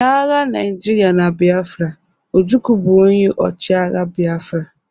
Na agha Naijiria na Biafra, Ojukwu bụ onye ọchịagha Biafra